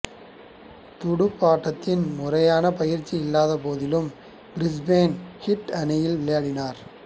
துடுப்பாட்டத்தில் முறையான பயிற்சி இல்லாத போதிலும் பிரிஸ்பேன் ஹீட் அணியில் விளையாடினார்